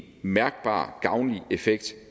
mærkbar gavnlig effekt